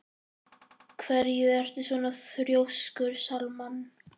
Af hverju ertu svona þrjóskur, Salmann?